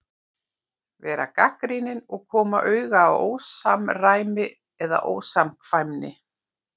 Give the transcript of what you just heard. Vera gagnrýnin og koma auga á ósamræmi eða ósamkvæmni.